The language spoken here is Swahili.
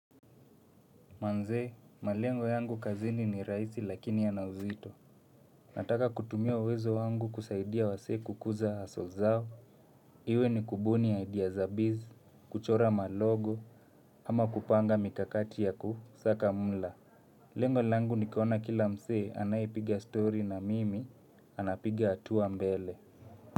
Manze, malengo yangu kazini ni rahisi lakini yana uzito. Nataka kutumia wezo wangu kusaidia wasee kukuza hustle zao. Iwe ni kubuni idea za biz, kuchora malogo, ama kupanga mikakati ya kusaka mula. Lengo langu ni kuona kila msee anayepiga story na mimi anapiga hatua mbele.